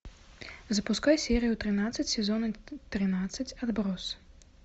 запускай серию тринадцать сезона тринадцать отбросы